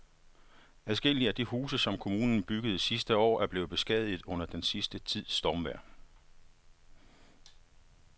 Adskillige af de huse, som kommunen byggede sidste år, er blevet beskadiget under den sidste tids stormvejr.